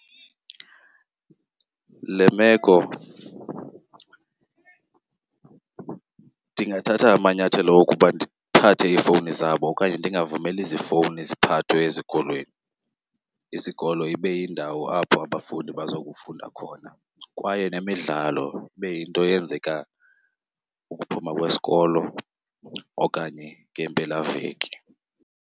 Le meko ndingathatha amanyathelo okuba ndithathe iifowuni zabo okanye ndingavumeli zifowuni ziphathwe ezikolweni. Isikolo ibe yindawo apho abafundi bazokufunda khona kwaye nemidlalo ibe yinto eyenzeka ukuphuma kwesikolo okanye ngeempelaveki.